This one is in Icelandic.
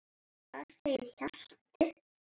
Þar segir Hjalti